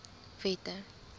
wette